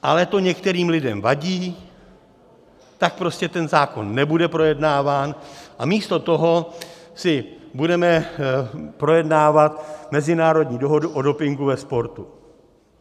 Ale to některým lidem vadí, tak prostě ten zákon nebude projednáván a místo toho si budeme projednávat mezinárodní dohodu o dopingu ve sportu.